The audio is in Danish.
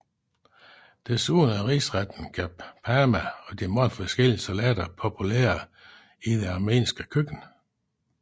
Desuden er risretten Ghapama og mange forskellige salater populære i det armenske køkken